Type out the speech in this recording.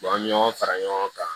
an ye ɲɔgɔn fara ɲɔgɔn kan